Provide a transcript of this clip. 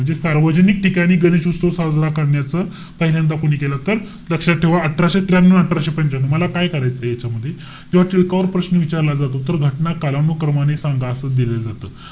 म्हणजे सार्वजनिक ठिकाणी गणेश उत्सव साजरा करण्याचं पहिल्यांदा कोणी केलं? तर लक्षात ठेवा अठराशे त्र्यानऊ, अठराशे पंच्यानऊ. मला काय करायचंय याच्यामध्ये. जेव्हा टिळकावर प्रश्न विचारला जातो. तर घटना कालानुक्रमाने सांगा असं दिलं जातं.